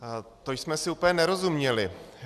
To jsme si úplně nerozuměli.